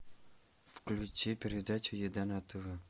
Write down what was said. включи передачу еда на тв